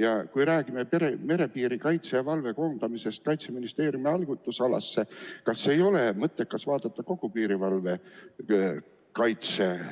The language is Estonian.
Ja kui räägime merepiirikaitse ja -valve koondamisest Kaitseministeeriumi haldusalasse, kas ei ole mõttekas vaadata kogu piirivalve